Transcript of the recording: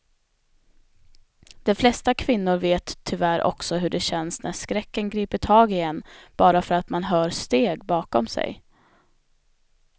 De flesta kvinnor vet tyvärr också hur det känns när skräcken griper tag i en bara för att man hör steg bakom sig.